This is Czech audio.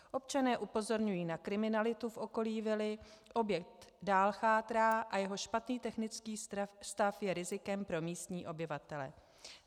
Občané upozorňují na kriminalitu v okolí vily, objekt dále chátrá a jeho špatný technický stav je rizikem pro místní obyvatele.